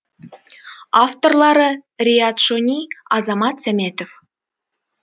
авторлары риат шони азамат сәметов